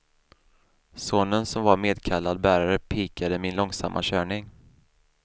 Sonen som var medkallad bärare pikade min långsamma körning.